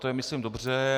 To je myslím dobře.